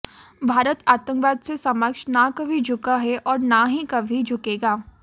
भारत आतंकवाद से समक्ष न कभी झुका है और न ही कभी झुकेगा